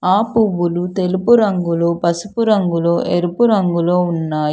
ఆ పువ్వులు తెలుపు రంగులో పసుపు రంగులో ఎరుపు రంగులో ఉన్నాయి.